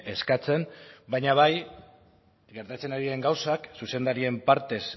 eskatzen baina bai gertatzen ari diren gauzak zuzendarien partez